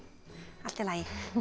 allt í lagi